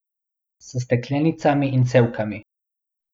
S steklenicami in cevkami.